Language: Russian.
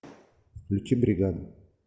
включи бригаду